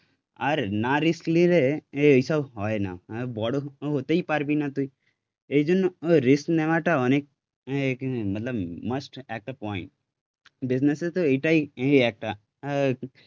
আর না রিস্ক নিলে এইসব হয় না, বড় হতে হতেই পারবি না তুই, এইজন্য রিস্ক নেওয়াটা অনেক মতলব মাস্ট একটা পয়েন্ট. বিজনেসে তো এটাই এই একটা